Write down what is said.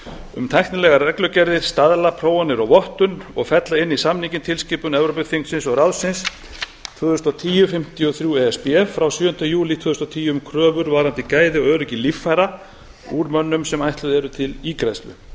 um tæknilegar reglugerðir staðlaprófanir og vottun of ella inn í samninginn tilskipun evrópuþingsins og ráðsins tvö þúsund og tíu fimmtíu og þrjú e s b frá sjöunda júlí tvö þúsund og tíu um kröfur varðandi gæði og öryggi líffæra úr mönnum sem eru ætluð til ígræðslu